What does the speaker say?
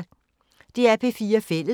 DR P4 Fælles